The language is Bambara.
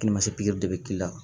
pikiri de be k'i la